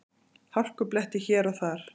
Hálkublettir hér og þar